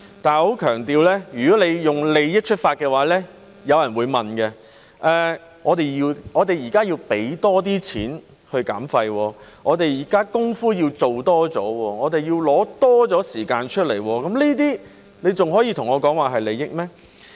但是，我要強調，如果從利益出發的話，有人便會問，我們現在要多付金錢去減廢，要多做工夫，亦要花費更多的時間，這還可以說是利益嗎？